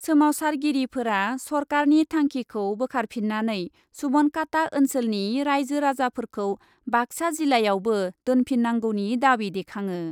सोमावसारगिरिफोरा सरकारनि थांखिखौ बोखारफिन्नानै सुबनखाता ओन्सोलनि राइजो राजाफोरखौ बाक्सा जिल्लायावबो दोनफिन्नांगौनि दाबि देखाङो ।